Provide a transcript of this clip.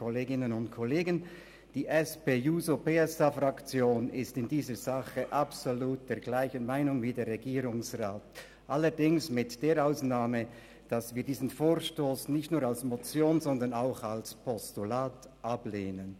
Die SP-JUSO-PSA-Fraktion ist in dieser Sache absolut derselben Meinung wie der Regierungsrat, allerdings mit der Ausnahme, dass wir diesen Vorstoss nicht nur als Motion, sondern auch als Postulat ablehnen.